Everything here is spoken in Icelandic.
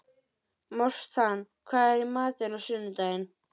Mortan, hvað er í matinn á sunnudaginn?